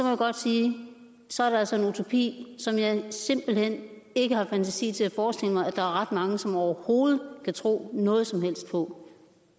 jeg godt sige at så er det altså en utopi som jeg simpelt hen ikke har fantasi til at forestille mig at der er ret mange som overhovedet kan tro noget som helst på